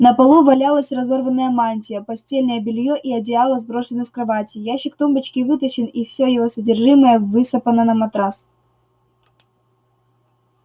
на полу валялась разорванная мантия постельное бельё и одеяла сброшены с кровати ящик тумбочки вытащен и всё его содержимое высыпано на матрас